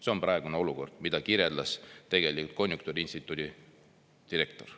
See on praegune olukord, mida kirjeldas tegelikult konjunktuuriinstituudi direktor.